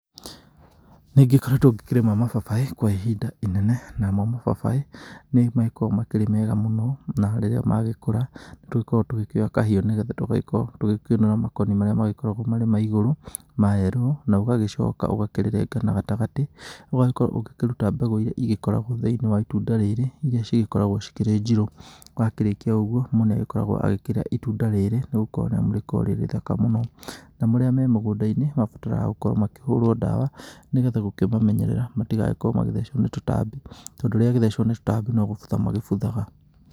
Nĩngĩkoretwo ngĩkĩrĩma mababaĩ kwa ihinda inene. Namo mababaĩ nĩmagĩkoragwo makĩrĩ mega mũno. Na rĩrĩa magĩkũra nĩtũgĩkoragwo tũgĩkĩoya kahiũ nĩ getha tũgagĩkorwo tũkĩũnũra makoni marĩa magĩkoragwo marĩ ma igũrũ ma yellow, na ũgagĩcoka ugagĩkĩrenga na gatagatĩ. Ũgagĩkorwo ũgĩkĩruta mbegũ iria igĩkoragwo thĩinĩ wa itunda rĩrĩ, iria cigĩkoragwo cikĩrĩ njirũ. Wakĩrĩkia ũguo mũndũ nĩagĩkoragwo agĩkĩrĩa itunda rĩrĩ nĩgũkorwo nĩamu nĩrĩkoragwo rĩrĩ ithaka mũno. Na marĩa me mũgũndainĩ mabataraga gũkorwo makĩhurwo ndawa nĩ getha gũkĩmamenyerera matigagĩkorwo magĩthecwo nĩ tũtambi, tondũ rĩagĩthecwo nĩ tũtambi no gũbutha magĩbuthaga